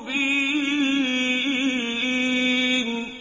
مُّبِينٌ